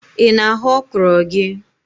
Ị na-aghọ ọkrọ gị?